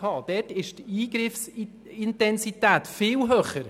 Dort ist die Eingriffsintensität viel höher.